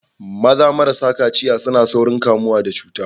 Maza marasa kaciya suna saurin kamuwa da cuta.